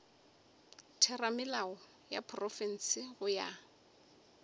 theramelao ya profense go ya